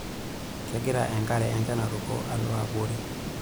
Kegira enkare enchan aruko alo abori.